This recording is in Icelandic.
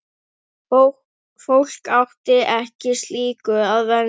Fólk átti ekki slíku að venjast.